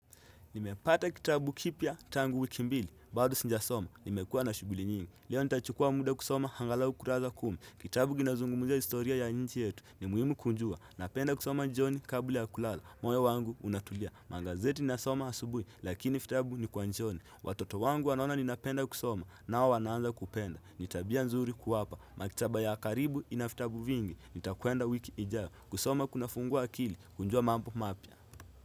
Nimepata kitabu kipya tangu wiki mbili, bado sijasoma, nimekua na shughuli nyingi. Leo nitachukua muda kusoma angalau kurasa kumi. Kitabu kinazungumzia historia ya nchi yetu ni muhimu kujua. Napenda kusoma jioni kabla ya kulala, moyo wangu unatulia. Magazeti ninasoma asubuhi, lakini vitabu ni kwa jioni. Watoto wangu wanaona ninapenda kusoma, nao wanaanza kupenda. Ni tabia nzuri kuwapa, maktaba ya karibu ina vitabu vingi. Nitakwenda wiki ijayo, kusoma kunafungua akili, kujua mambo mapya.